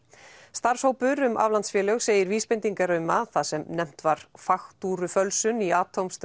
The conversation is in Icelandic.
starfshópur um aflandsfélög segir vísbendingar um að það sem nefnt var faktúrufölsun í